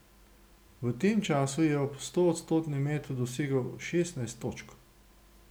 V tem času je ob stoodstotnem metu dosegel šestnajst točk.